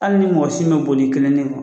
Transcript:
Hali ni mɔgɔ si ma boli i kelen nin kɔ